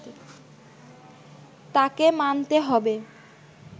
তাকে মানতে হবে”